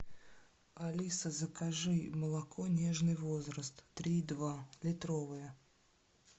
алиса закажи молоко нежный возраст три и два литровое